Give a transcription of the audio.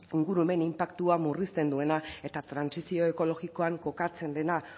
ingurumen inpaktua murrizten duena eta trantsizio ekologikoan kokatzen dena